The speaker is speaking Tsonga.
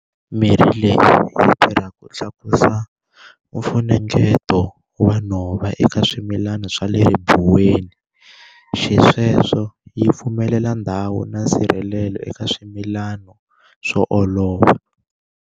Mirhi leyi yi tirha ku tlakusa mfunengeto wa nhova eka swimilani swa le ribuweni, xisweswo yi pfumelela ndhawu na nsirhelelo eka swimilano swo olova.